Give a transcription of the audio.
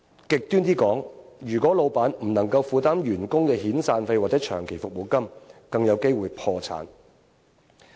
極端點說，如果老闆不能負擔員工遣散費或長期服務金，更有機會破產。